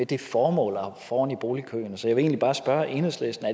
det formål at hoppe foran i boligkøen så jeg vil bare spørge enhedslisten